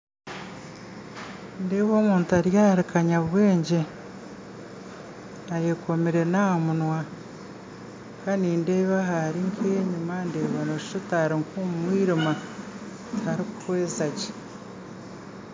Nindeeba omuntu ari ahari kanyabwegye ayekomire n'aha munwa kandi nindeeba ahari enyima nooshusha oti ari omumwiriima tarikuhweza gye